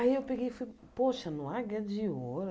Aí eu peguei e, poxa, no Águia de Ouro?